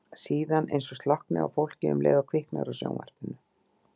Síðan eins og slokkni á fólki um leið og kviknar á sjónvarpinu.